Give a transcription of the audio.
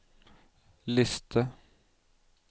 liste